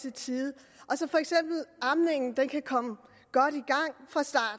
i tide og så for eksempel amningen kan komme